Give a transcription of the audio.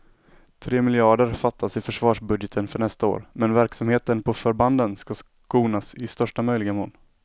Tre miljarder fattas i försvarsbudgeten för nästa år, men verksamheten på förbanden ska skonas i största möjliga mån.